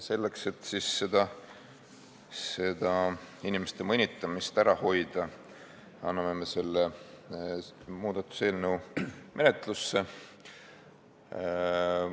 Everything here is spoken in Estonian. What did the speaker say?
Selleks, et seesugust inimeste mõnitamist ära hoida, anname me oma muudatuse eelnõu menetlusse.